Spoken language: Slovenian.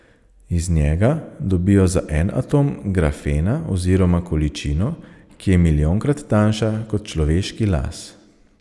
Iz njega dobijo za en atom grafena oziroma količino, ki je milijonkrat tanjša kot človeški las.